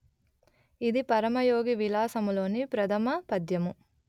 ఇది పరమయోగివిలాసములోని ప్రధమపద్యము